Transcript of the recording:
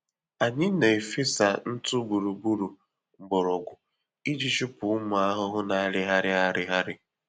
Ana m na-efesa ntụ gburugburu mgbọrọgwụ iji chụpụ ụmụ ahụhụ na-arịgharị arịgharị